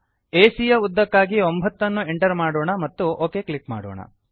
ಎಸಿಯ ಯ ಉದ್ದಕ್ಕಾಗಿ 9 ಅನ್ನು ಎಂಟರ್ ಮಾಡೋಣ ಮತ್ತು ಒಕ್ ಕ್ಲಿಕ್ ಮಾಡೋಣ